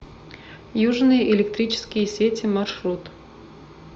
южные электрические сети маршрут